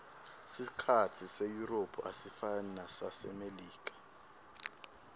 sikhatsi seyurophu asifani nesasemelika